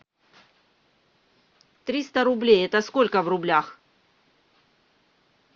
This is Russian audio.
триста рублей это сколько в рублях